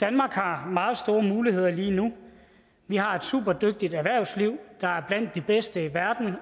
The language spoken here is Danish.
danmark har meget store muligheder lige nu vi har et superdygtigt erhvervsliv der er blandt de bedste i verden og